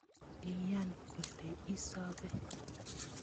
Iyan kole isobe